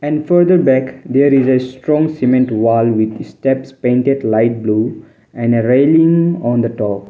and further there is a strong cement wall with steps painted light blue and a railing on the top.